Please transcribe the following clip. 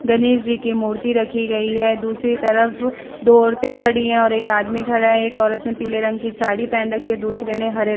गणेश जी की मूर्ति रखी गयी है दूसरी तरफ दो औरते खड़ी है और एक आदमी खड़ा है एक औरत ने पीले रंग की साड़ी पेहेन रखी है दुसरे ने हरे --